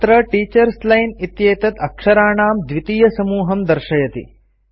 अत्र teachers line इत्येतत् अक्षराणां द्वितीयसमूहं दर्शयति